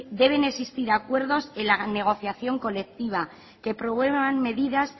deben existir acuerdos en la negociación colectiva que promuevan medidas